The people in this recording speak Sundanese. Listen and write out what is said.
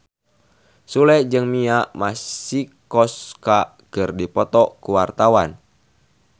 Sule jeung Mia Masikowska keur dipoto ku wartawan